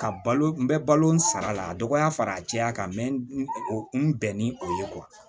Ka balo n bɛ balo n sara la a dɔgɔya fara a jɛya kan n bɛ n bɛn ni o ye